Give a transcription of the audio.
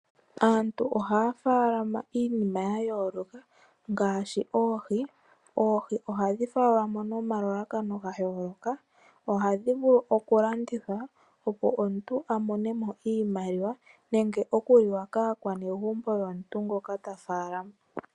Aantu ohaya faalama iinima ya yooloka ngaashi oohi. Oohi ohadhi faalamwa nomalalakano ga yooloka , ohadhi vulu okulandithwa opo omuntu a monemo iimaliwa, nenge okuliwa kaakwanegumbo yomuntu ngoka ta faalama.